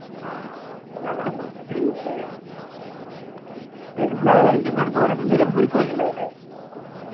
ആഹ് okay ഞങ്ങളിപ്പോ പിന്നെ പെരുനാളായിട്ടിപ്പോ എവിടക്ക പോണത് നിലമ്പൂർക്ക് പോയിക്കില്ലേ അല്ലെ